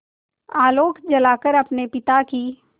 आलोक जलाकर अपने पिता की